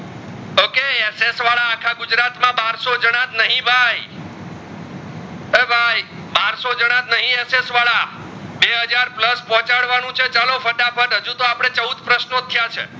મેષ વડા આખા ગુજરાત માં બરસો જનાજ નહીં ભાઈ એ ભાઈ બરસો જણા નહીજ SS વાડા બે હજાર plus પોચડવાનું છે ચાલો ફટાફટ હજુ તો અપડે ચૌદ પ્રશ્નો થયા છે.